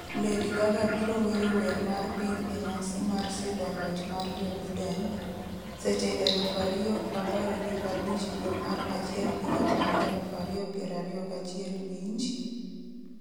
, Lady Gaga biro wero wer mar piny e nyasi mar sidho loch mar Joe Biden, Seche 2,0015 dwe mar achiel higa mar 2021 Winj,